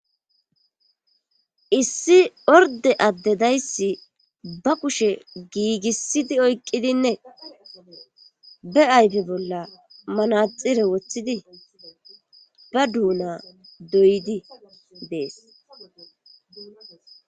Issi orde adde dayssi ba kushe giigissidi oyqqidinne ba ayfe bolla manaxire woththidi ba duuna doydi dees